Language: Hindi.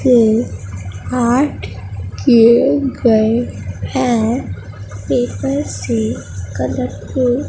के काट के गए हैं पेपरसे के।